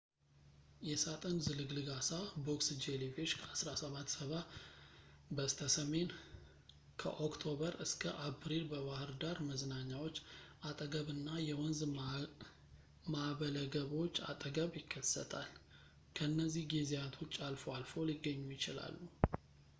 የሣጥን ዝልግልግ ዓሣ box jellyfish ከ1770 በስተሰሜን ከኦክቶበር እስከ አፕሪል በባህር ዳር መዝናኛዎች አጠገብና የወንዝ ማእበለገቦች አጠገብ ይከሰታል። ከነዚህ ጊዜያት ውጭ አልፎ አልፎ ሊገኙ ይችላሉ